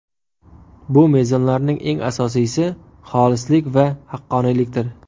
Bu mezonlarning eng asosiysi xolislik va haqqoniylikdir.